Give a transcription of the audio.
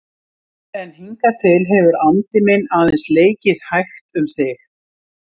En hingað til hefur andi minn aðeins leikið hægt um þig.